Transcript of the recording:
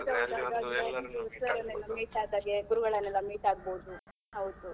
Meet ಆದ್ ಹಾಗೆ ಗುರುಗಳನೆಲ್ಲ meet ಆಗ್ಬೋದು ಹೌದು.